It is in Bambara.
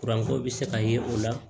ko bɛ se ka ye o la